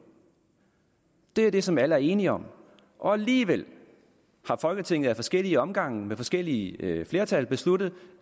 det er det som alle er enige om alligevel har folketinget i forskellige omgange med forskellige flertal besluttet